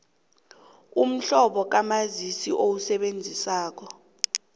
umhlobo kamazisi owusebenzisako